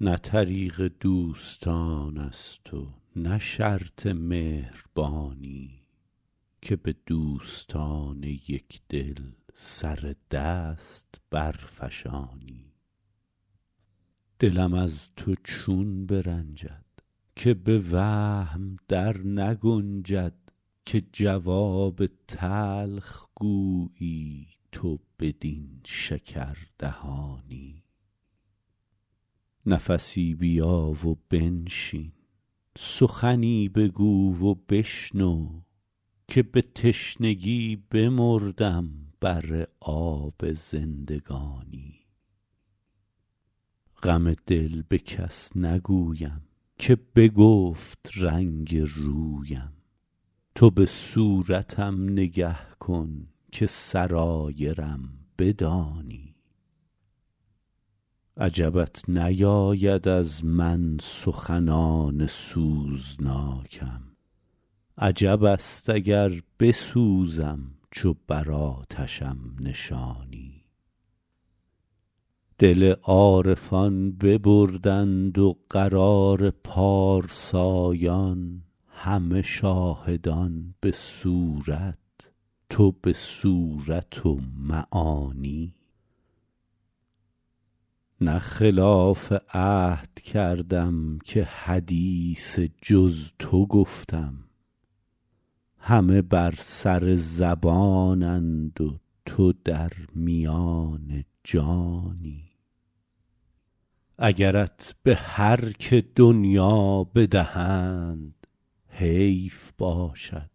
نه طریق دوستان است و نه شرط مهربانی که به دوستان یک دل سر دست برفشانی دلم از تو چون برنجد که به وهم در نگنجد که جواب تلخ گویی تو بدین شکردهانی نفسی بیا و بنشین سخنی بگو و بشنو که به تشنگی بمردم بر آب زندگانی غم دل به کس نگویم که بگفت رنگ رویم تو به صورتم نگه کن که سرایرم بدانی عجبت نیاید از من سخنان سوزناکم عجب است اگر بسوزم چو بر آتشم نشانی دل عارفان ببردند و قرار پارسایان همه شاهدان به صورت تو به صورت و معانی نه خلاف عهد کردم که حدیث جز تو گفتم همه بر سر زبانند و تو در میان جانی اگرت به هر که دنیا بدهند حیف باشد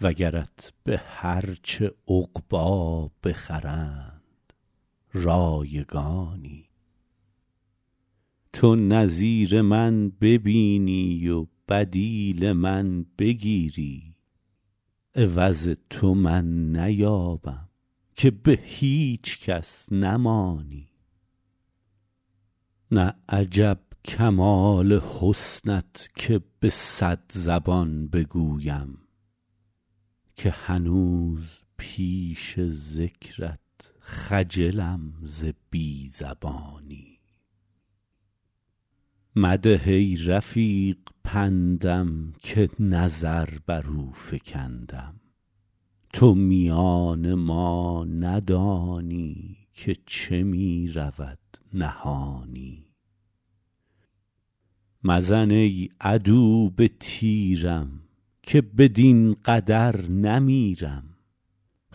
وگرت به هر چه عقبی بخرند رایگانی تو نظیر من ببینی و بدیل من بگیری عوض تو من نیابم که به هیچ کس نمانی نه عجب کمال حسنت که به صد زبان بگویم که هنوز پیش ذکرت خجلم ز بی زبانی مده ای رفیق پندم که نظر بر او فکندم تو میان ما ندانی که چه می رود نهانی مزن ای عدو به تیرم که بدین قدر نمیرم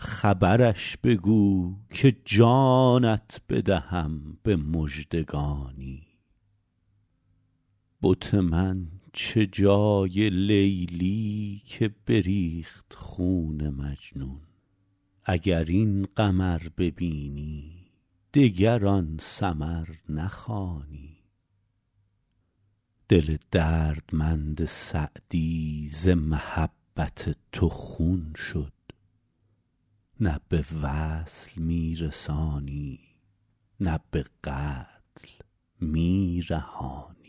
خبرش بگو که جانت بدهم به مژدگانی بت من چه جای لیلی که بریخت خون مجنون اگر این قمر ببینی دگر آن سمر نخوانی دل دردمند سعدی ز محبت تو خون شد نه به وصل می رسانی نه به قتل می رهانی